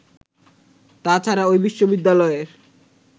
তা ছাড়া ওই বিশ্ববিদ্যালয়ের